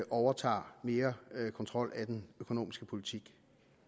overtager mere kontrol af den økonomiske politik